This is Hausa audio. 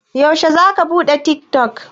Yaushe za ka buɗe tik tok?